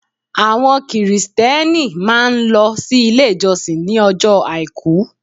Àwọn Kìrìsìtẹ́ẹ́nì máà ń lọ sí ilé ìjọsìn ní ọjọ́ Àìkú.